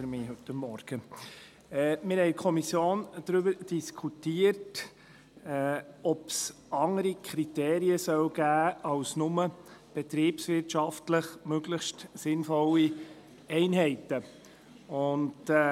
Wir haben in der Kommission darüber diskutiert, ob es andere Kriterien als nur «betriebswirtschaftlich möglichst sinnvolle Einheiten» geben soll.